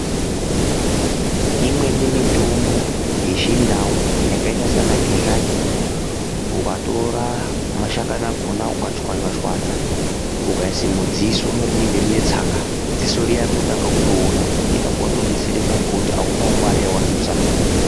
Imweni mitombo yechindau yakaita saana gedhlani ukatora mashakani akona ukachwanya chwanya ukaisa mudziso rinenge rine tsanga dziso riya rinotanga kutoona ipapo watodetsereka ngekuti aunawo Mari yawadusa.